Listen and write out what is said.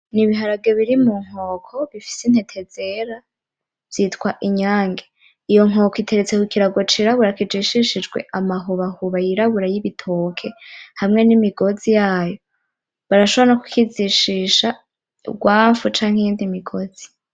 N'ibiharage biri mu nkoko bifise intete zera vyitwa inyange iyo nkoko iteretse kukirago c'irabura kijishijwe amahobahoba y'irabura y'ibitoke hamwe n'imigozi yayo barashoboye no kukijishisha urwanfu canke iyindi migozi